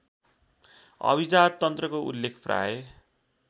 अभिजाततन्त्रको उल्लेख प्राय